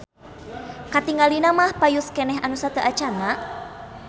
Katingalina mah payus keneh anu sateuacanna.